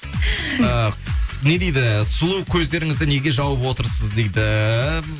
ыыы не дейді сұлу көздеріңізді неге жауып отырсыз дейді